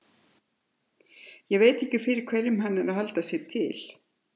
Ég veit ekki fyrir hverjum hann er að halda sig til.